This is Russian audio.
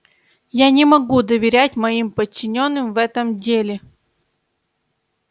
я не могу доверять моим подчинённым в этом деле